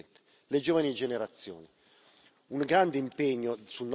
E poi la nostra sfida più grande, Presidente le giovani generazioni.